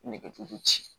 Nɛgɛjuru ci